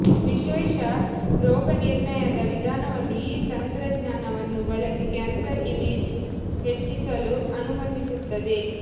ವಿಶೇಷ ರೋಗನಿರ್ಣಯದ ವಿಧಾನವನ್ನು ಈ ತಂತ್ರಜ್ಞಾನವನ್ನು ಬಳಸಿ ಕ್ಯಾನ್ಸರ್ ಇಮೇಜ್ ಹೆಚ್ಚಿಸಲು ಅನುಮತಿಸುತ್ತದೆ